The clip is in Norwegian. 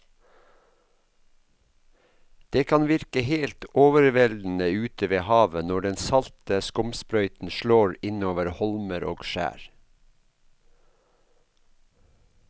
Det kan virke helt overveldende ute ved havet når den salte skumsprøyten slår innover holmer og skjær.